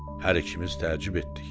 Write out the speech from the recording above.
Hər ikimiz təəccüb etdik.